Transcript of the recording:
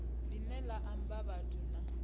line la amba vhathu na